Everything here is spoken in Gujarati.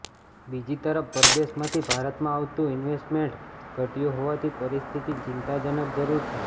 બીજી તરફ પરદેશમાંથી ભારતમાં આવતું ઇન્વેસ્ટમેન્ટ ઘટયું હોવાથી પરિસ્થિતિ ચિંતાજનક જરૃર છે